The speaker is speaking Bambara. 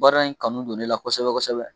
Baara in kanu don ne la kosɛbɛ kosɛbɛ